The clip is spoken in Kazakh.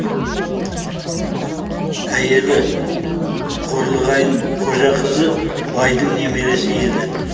әйелі қорлығайын қожақызы байдың немересі еді